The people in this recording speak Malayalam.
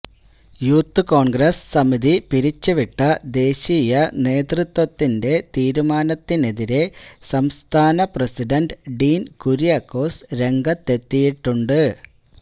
യൂത്ത് കോൺഗ്രസ് സമിതി പിരിച്ചുവിട്ട ദേശീയ നേതൃത്വത്തിന്റെ തീരുമാനത്തിനെതിരെ സംസ്ഥാന പ്രസിഡന്റ് ഡീൻ കുര്യാക്കോസ് രംഗത്തെത്തിയിട്ടുണ്ട്